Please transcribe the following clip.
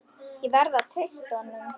Ég verð að treysta honum.